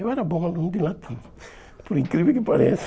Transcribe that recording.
Eu era bom aluno de latim, por incrível que pareça.